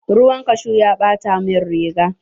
Ruwan kashu ya ɓata min riga.